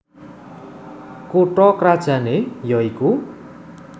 Kutha krajané ya iku